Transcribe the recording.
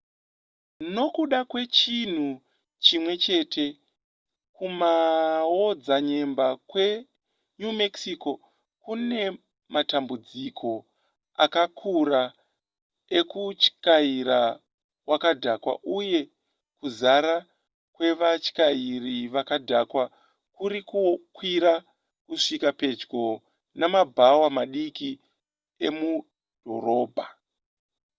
nokuda kwechinhu chimwe chete kumaodzanyemba kwe new mexico kune matambudziko akakura ekutyaira wakadhakwa uye kuzara kwevatyairi vakadhakwa kurikukwira kusvika pedyo nemabhawa madiki emudhorobha